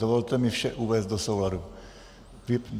Dovolte mi vše uvést do souladu.